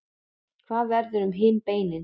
hvað verður um hin beinin